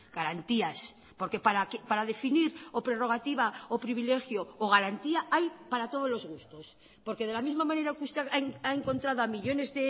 garantías porque para definir o prerrogativa o privilegio o garantía hay para todos los gustos porque de la misma manera que usted ha encontrado a millónes